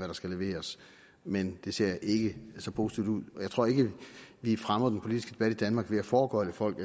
der skal leveres men det ser ikke så positivt ud jeg tror ikke vi fremmer den politiske debat i danmark ved at foregøgle folk